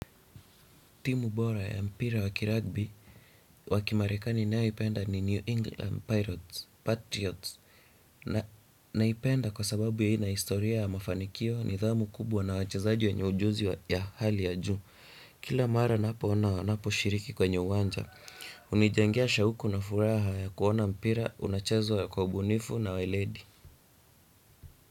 Timu bora ya mpira wa kiragbi wa kimarekani ninayoipenda ni New England Pirates Patriots. Naipenda kwa sababu ina historia ya mafanikio nidhamu kubwa na wachazaji wenye ujuzi ya hali ya juu. Kila mara ninapo ona ninaposhiriki kwenye uwanja, hunijengea shauku na furaha ya kuona mpira unachezwa kwa ubunifu na weledi.